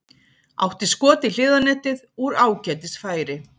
Átti skot í hliðarnetið úr ágætis færi.